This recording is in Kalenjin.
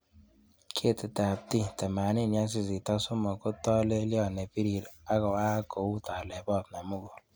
Ketitab T83 ko tolelion nebirir agoak kou telebot nemugul.